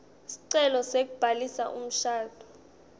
sicelo sekubhalisa umshado